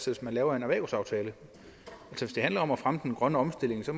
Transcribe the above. hvis man laver en erhvervsaftale hvis det handler om at fremme den grønne omstilling så